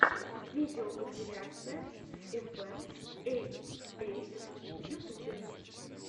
видеокомпиляция эфэм эй эйт в ютубе